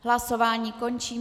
Hlasování končím.